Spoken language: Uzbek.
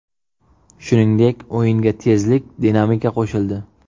Shuningdek, o‘yinga tezlik, dinamika qo‘shildi.